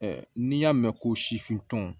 n'i y'a mɛn ko sifin tɔn